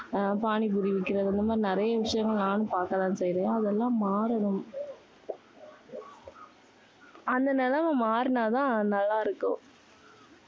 அஹ் பானி பூரி விக்கறது, இந்த மாதிரி நிறைய விஷயங்கள் நானும் பார்க்க தான் செய்றேன். அதெல்லாம் மாறணும் அந்த நிலைமை மாறினா தான் நல்லா இருக்கும்.